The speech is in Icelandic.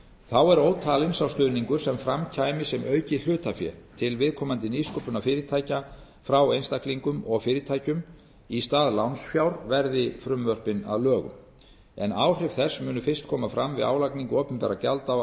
þá er ótalinn sá stuðningur sem fram kæmi sem aukið hlutafé til viðkomandi nýsköpunarfyrirtækja frá einstaklingum og fyrirtækjum í stað lánsfjár verði frumvörpin að lögum en áhrif þess munu fyrst koma fram við álagningu opinberra gjalda á